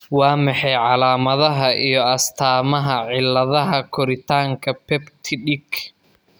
Waa maxay calaamadaha iyo astaamaha cilladaha koritaanka Peptidic?